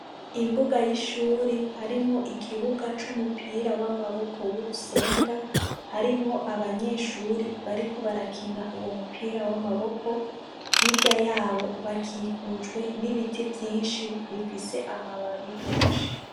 Imbuga y’ishuri harimwo ikibuga c’umupira w’amaboko w’urusenga , harimwo abanyeshuri bariko barakina uwo mupira w’amaboko, hirya yabo bakikujwe n’ibiti vyinshi bifise amababi menshi.